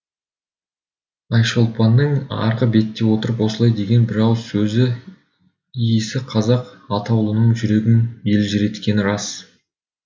айшолпанның арғы бетте отырып осылай деген бір ауыз сөзі иісі қазақ атаулының жүрегін елжіреткені рас